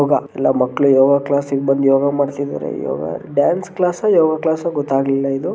ಯೋಗ ಎಲ್ಲಿ ಮಕ್ಕಳು ಯೋಗ ಕ್ಲಾಸಿಗೆ ಬಂದು ಯೋಗ ಮಾಡ್ತಿದಾರೆ yoga dance class yoga class ಗೊತ್ತಾಗಲಿಲ್ಲ ಇದು--